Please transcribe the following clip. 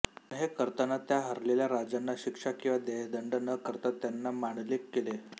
पण हे करताना त्या हरलेल्या राजाना शिक्षा किंवा देहदंड न करता त्याना मांडलिक केले